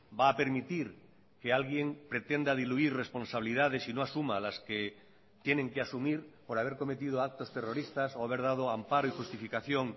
va a permitir que alguien pretenda diluir responsabilidades y no asuma las que tienen que asumir por haber cometido actos terroristas o haber dado amparo y justificación